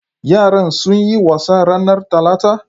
Yaran sunyi wasa ranar talata?